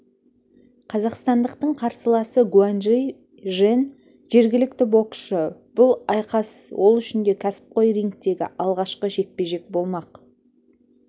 қазақстандықтың қарсыласы гуаньжи жен жергілікті боксшы бұл айқас ол үшін де кәсіпқой рингтегі алғашқы жекпе-жек болмақ